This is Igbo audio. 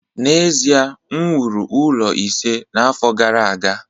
n'ezie, m wuru ụlọ ise n'afọ gara aga